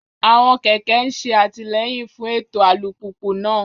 Àwọn kẹ̀kẹ́ ń ṣe àtìlẹ́yìn fún ètò alùpùpù náà.